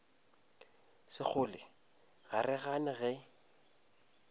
sekgole ga re gane ge